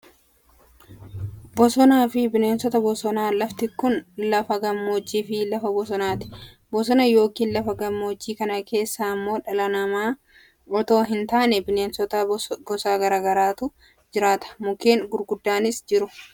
Bosonaafi bineensota bosonaa, lafti kun lafa gammoojii fi lafa bosonaati. Bosona yookaan lafa gammoojjii kana keessa ammoo dhala nama otoo hin taane bineensota gosa gara garaatu jiraata. Mukeen gurguddaanis jiru.